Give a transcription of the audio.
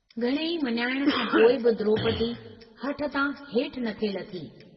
घणेई मञाइण खां पोइ बि द्रोपदी हठतां हेठ न थे लथी।